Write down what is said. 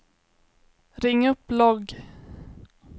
ring upp logg